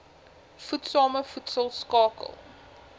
voedsame voedsel skakel